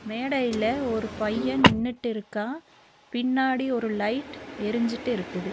மேடையில ஒரு பைய நின்னுட்டு இருக்கா பின்னாடி ஒரு லைட் எரிஞ்சிட்டு இருக்குது.